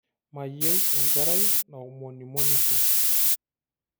Mayieu enkerai naomonimonisho.